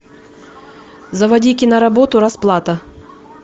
заводи киноработу расплата